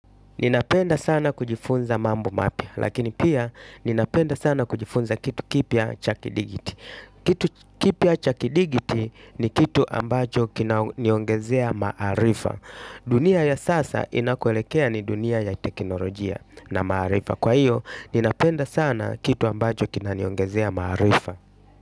Ninapenda sana kujifunza mambo mapya lakini pia ninapenda sana kujifunza kitu kipya cha kidigiti. Kitu kipya cha kidigiti ni kitu ambacho kinaniongezea maarifa dunia ya saa inakoelekea ni dunia ya teknolojia na maarifa kwa hiyo ninapenda sana kitu ambacho kinaniongezea maarifa.